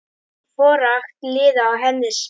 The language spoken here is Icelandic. forakt lýða og hinna spé.